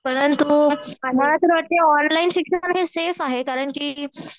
परंतु मला तर वाटते ऑनलाईन शिकण्याचा सेफ आहे कारण की